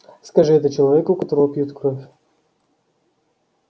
скажи это человеку у которого пьют кровь